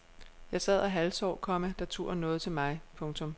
Jeg sad og halvsov, komma da turen nåede til mig. punktum